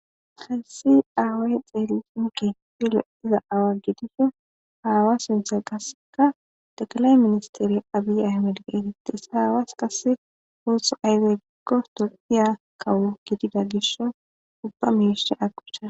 hayssi aaway xeelishinka filo iza awa gidiso haawa sinthe qasseka dakalaye ministeri abiy ahmedgeetates haawaas kasse hooththo ayze giggoto diya kawu gidida gisho dubba miishie agubsha